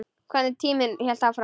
Hvernig tíminn hélt áfram.